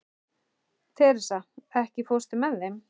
Teresa, ekki fórstu með þeim?